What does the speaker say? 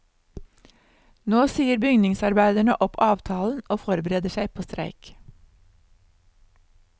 Nå sier bygningsarbeiderne opp avtalen og forbereder seg på streik.